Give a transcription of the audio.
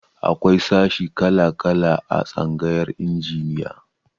Akwai sashi kala-kala a tsangayar injiniya.